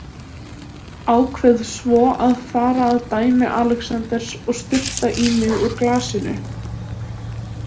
Ákveð svo að fara að dæmi Alexanders og sturta í mig úr glasinu.